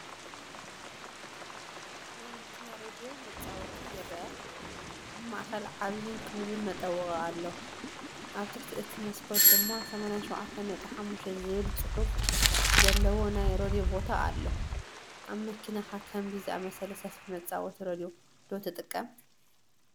ናይ መኪና ሬድዮ መጻወቲ ይርአ። ኣብ ማእከል ዓቢን ክቡብን መጠወቒ ኣሎ፣ ኣብ ትሕቲ እቲ መስኮት ድማ “87.5” ዝብል ጽሑፍ ዘለዎ ናይ ሬድዮ ቦታ ኣሎ። ኣብ መኪናኻ ከምዚ ዝኣመሰለ ሰፊሕ መጻወቲ ሬድዮ ዶ ትጥቀም?